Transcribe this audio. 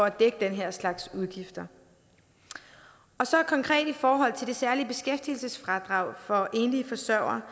at dække den her slags udgifter så konkret i forhold til det særlige beskæftigelsesfradrag for enlige forsørgere